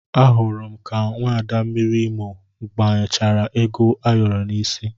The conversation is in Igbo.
Ahụrụ m ka nwaada mmiri Imo gbanyechara ego ayoro n'isi